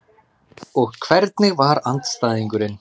Og hvernig var andstæðingurinn?